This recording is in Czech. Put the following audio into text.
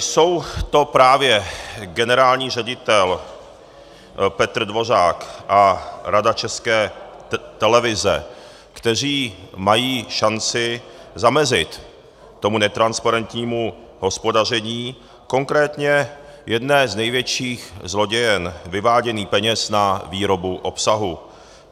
Jsou to právě generální ředitel Petr Dvořák a Rada České televize, kteří mají šanci zamezit tomu netransparentnímu hospodaření, konkrétně jedné z největších zlodějin vyvádění peněz na výrobu obsahu.